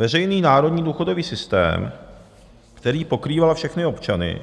Veřejný národní důchodový systém, který pokrýval všechny občany,